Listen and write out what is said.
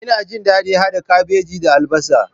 Ina jin daɗin hada kabeji da albasa.